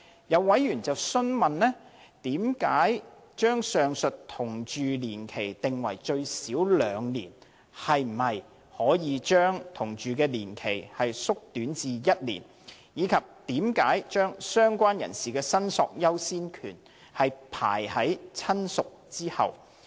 有委員詢問，為何把上述的同住期定為最少兩年和可否將該同住期縮短至1年，以及為何把"相關人士"的申索優先權排於"親屬"之後。